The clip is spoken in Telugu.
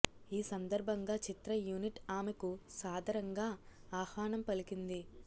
ఈ సందర్భంగా చిత్ర యూనిట్ ఆమెకు సాదరంగా ఆహ్వానం పలికింది